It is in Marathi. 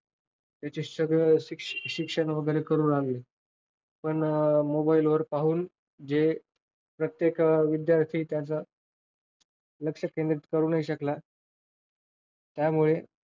त्याच सगळं शिक्षण वगैरे करू लागले. पण mobile वर पाहून जे प्रत्येक विद्यार्थी त्याचं लक्ष केंद्रित करू नाही शकला. त्यामुळे,